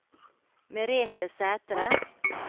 Merethe Sæthre